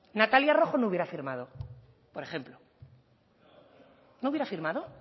natalia rojo no hubiera firmado por ejemplo no hubiera firmado